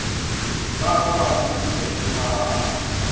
ba ba ba holofetša tshepagalo